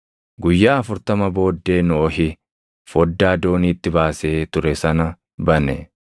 Guyyaa afurtama booddee Nohi foddaa dooniitti baasee ture sana bane;